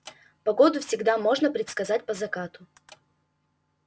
погоду всегда можно предсказать по закату